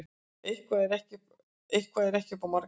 Eitthvað er ekki upp á marga fiska